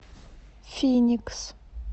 финикс